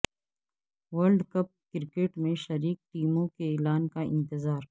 world cup cricket میں شریک ٹیموں کے اعلان کا انتظار